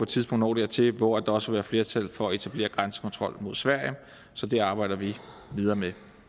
tidspunkt når dertil hvor der også vil være flertal for at etablere grænsekontrol mod sverige så det arbejder vi videre med